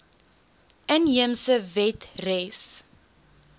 inheemse wet res